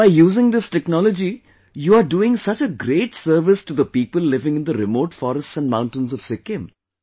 By using this technology, you are doing such a great service to the people living in the remote forests and mountains of Sikkim